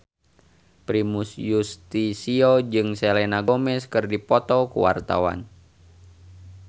Primus Yustisio jeung Selena Gomez keur dipoto ku wartawan